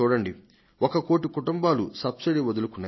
ఒక కోటి కుటుంబాలు సబ్సిడీని వదులుకున్నాయి